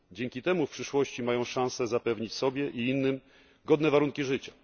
Dzięki temu w przyszłości mają szansę zapewnić sobie i innym godne warunki życia.